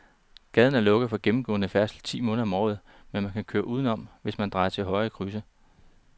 Gaden er lukket for gennemgående færdsel ti måneder om året, men man kan køre udenom, hvis man drejer til højre i krydset.